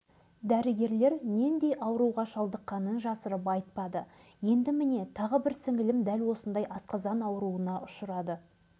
кейін асқазан ауруынан осындай жағдайға душар болған деп жылы жауып қоя салды